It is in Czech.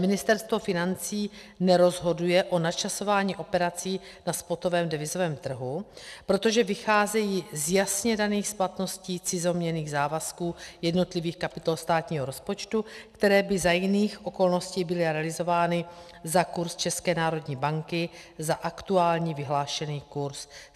Ministerstvo financí nerozhoduje o načasování operací na spotovém devizovém trhu, protože vycházejí z jasně daných splatností cizoměnných závazků jednotlivých kapitol státního rozpočtu, které by za jiných okolností byly realizovány za kurz České národní banky, za aktuální vyhlášený kurz.